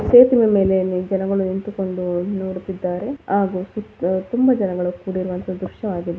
ಸೇತುವೆ ಮೇಲೆ ಜನಗಳು ನಿಂತುಕೊಂಡು ನೋಡುತಿದ್ದರೆ ಹಾಗು ಸುತ್ ತುಂಬ ಜನಗಳು ಕೂಡಿರುವಂತ ದೃಶ್ಯ ಆಗಿದೆ--